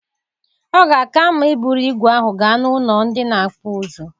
Ọ ga-aka mma iburu ígwè ahụ gaa n'ụlọ ndị na-akpụ ụzụ